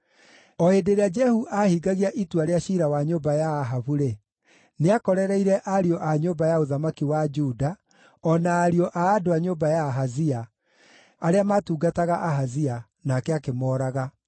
O hĩndĩ ĩrĩa Jehu aahingagia itua rĩa ciira wa nyũmba ya Ahabu-rĩ, nĩakorereire ariũ a nyũmba ya ũthamaki wa Juda o na ariũ a andũ a nyũmba ya Ahazia, arĩa maatungataga Ahazia, nake akĩmooraga.